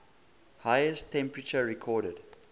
highest temperature recorded